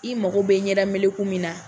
I mago bɛ ɲɛda meleku min na